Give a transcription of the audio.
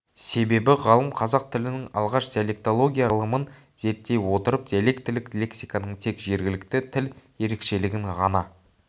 себебі ғалым қазақ тілінің алғаш диалектология ғылымын зерттей отырып диалектілік лексиканың тек жергілікті тіл ерекшелігін ғана